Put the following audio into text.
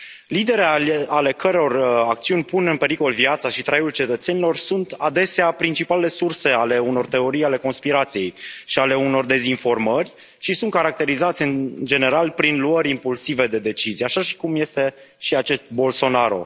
Lideri ale căror acțiuni pun în pericol viața și traiul cetățenilor sunt adesea principalele surse ale unor teorii ale conspirației și ale unor dezinformări și sunt caracterizați, în general, prin luări impulsive de decizii, așa cum este și acest Bolsonaro.